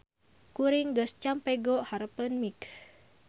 Kuring geus campego hareupeun mik.